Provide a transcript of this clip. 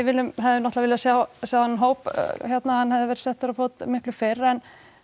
hefðum náttúrulega viljað sjá þennan hóp að hérna hann hefði verið settur á fót miklu fyrr en